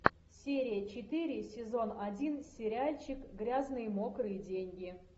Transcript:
серия четыре сезон один сериальчик грязные мокрые деньги